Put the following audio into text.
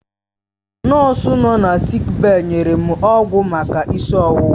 Nọọsụ nọ na sịịk bèyí nyere m ọgwụ maka isi ọwụwa.